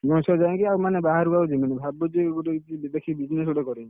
ଗଣେଶ ପୂଜାକୁ ବାହାରକୁ ଆଉ ଯିବିନି, ଭାବୁଛି କୋଉଠି ଗୋଟେ ଦେଖିକି business କରିବି।